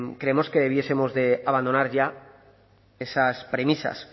creemos que debiéramos de abandonar ya esas premisas